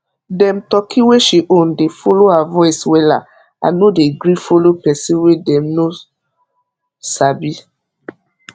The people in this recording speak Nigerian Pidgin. dem turkey wey she own dey follow her voice wella and no dey gree follow person wey dem know sabi